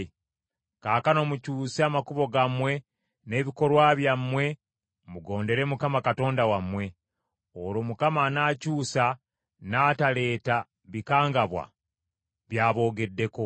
Kaakano mukyuse amakubo gammwe n’ebikolwa byammwe mugondere Mukama Katonda wammwe. Olwo Mukama anaakyusa n’ataleeta bikangabwa by’aboogeddeko.